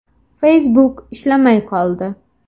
Facebook ishlamay qoldi.